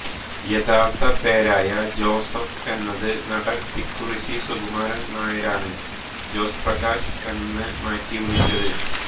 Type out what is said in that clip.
യഥാർഥ പേരായ ജോസഫ് എന്നത് നടൻ തിക്കുറിശ്ശി സുകുമാരൻ നായരാണ് ജോസ്പ്രകാശ് എന്ന് മാറ്റി വിളിച്ചത്